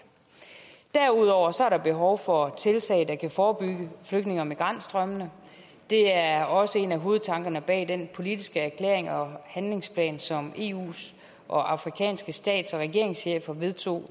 derudover er der behov for tiltag der kan forebygge flygtninge og migrantstrømmene det er også en af hovedtankerne bag den politiske erklæring og handlingsplan som eus og afrikanske stats og regeringschefer vedtog